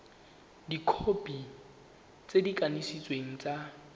dikhopi tse di kanisitsweng tsa